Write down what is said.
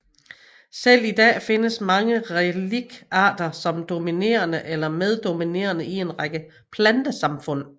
Selv i dag findes mange reliktarter som dominerende eller meddominerende i en række plantesamfund